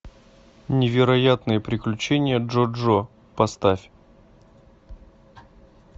невероятные приключения джо джо поставь